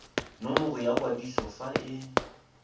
nomoro ya kwadiso fa e